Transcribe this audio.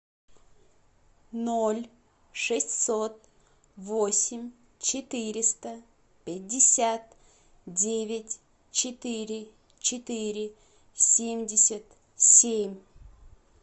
ноль шестьсот восемь четыреста пятьдесят девять четыре четыре семьдесят семь